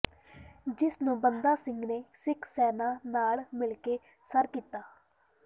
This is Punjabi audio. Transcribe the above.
ਜਿਸ ਨੂੰ ਬੰਦਾ ਸਿੰਘ ਨੇ ਸਿੱਖ ਸੈਨਾ ਨਾਲ ਮਿਲਕੇ ਸਰ ਕੀਤਾ